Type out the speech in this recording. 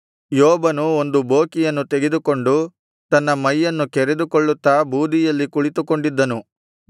ಯೋಬನು ಒಂದು ಬೋಕಿಯನ್ನು ತೆಗೆದುಕೊಂಡು ತನ್ನ ಮೈಯನ್ನು ಕೆರೆದುಕೊಳ್ಳುತ್ತಾ ಬೂದಿಯಲ್ಲಿ ಕುಳಿತುಕೊಂಡಿದ್ದನು